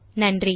நன்றி